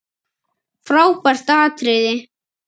Frábært atriði.